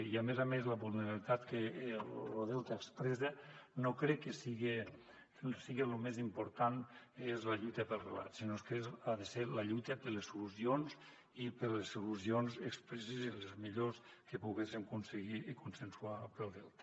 i a més a més la vulnerabilitat que lo delta expressa no crec que siga lo més important la lluita pel relat sinó que ha de ser la lluita per les solucions i per a les solucions expresses i les millores que poguéssem aconseguir i consensuar per al delta